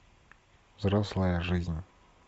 взрослая жизнь